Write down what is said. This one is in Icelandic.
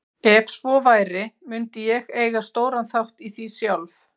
Ef svo væri mundi ég eiga stóran þátt í því sjálf.